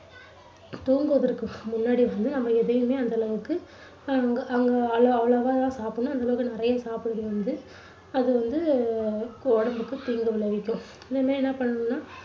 தூங்குவதற்கு முன்னாடி வந்து நம்ம எதையுமே அந்த அளவுக்கு அங்க அங்க அளவா தான் சாப்பிடணும். அந்த அளவுக்கு நிறைய சாப்பிடக் கூடாது. அது வந்து உடம்புக்கு தீங்கு விளைவிக்கும். இனிமே என்ன பண்ணணும்னா